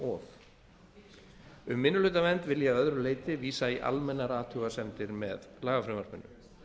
of um minnihlutavernd vil ég að öðru leyti vísa í almennar athugasemdir með lagafrumvarpinu